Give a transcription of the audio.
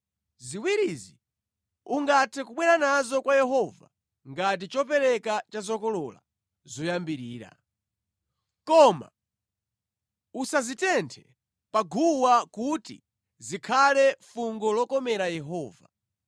Ziwirizi ungathe kubwera nazo kwa Yehova ngati chopereka cha zokolola zoyambirira. Koma usazitenthe pa guwa kuti zikhale fungo lokomera Yehova.